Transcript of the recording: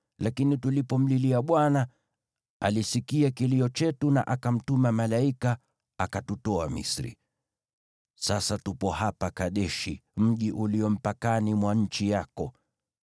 lakini tulipomlilia Bwana , alisikia kilio chetu na akamtuma malaika akatutoa Misri. “Sasa tupo hapa Kadeshi, mji ulio mpakani mwa nchi yako.